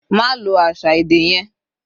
Ma lo àṣà èdè yẹn.